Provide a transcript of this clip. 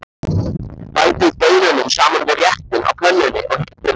Bætið baununum saman við réttinn á pönnunni og hitið vel.